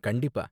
கண்டிப்பா!